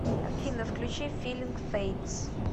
афина включи филинг фэйдс